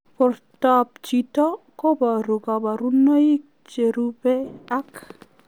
Portoop chitoo kobaruu kabarunaik cherubei ak